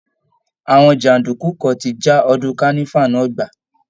Àwọn jàǹdùkú kan ti já ọdún kánífà náà gbà